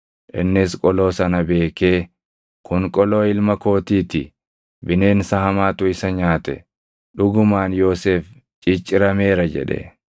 Innis qoloo sana beekee, “Kun qoloo ilma kootii ti! Bineensa hamaatu isa nyaate. Dhugumaan Yoosef ciccirameera” jedhe.